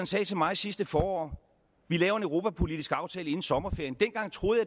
sagde til mig sidste forår vi laver en europapolitisk aftale inden sommerferien dengang troede